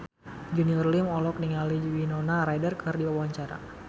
Junior Liem olohok ningali Winona Ryder keur diwawancara